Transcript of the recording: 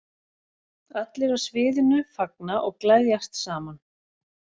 Allir á sviðinu fagna og gleðjast saman.